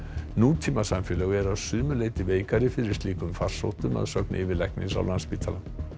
nútímasamfélög eru að sumu leyti veikari fyrir slíkum farsóttum að sögn yfirlæknis á Landspítala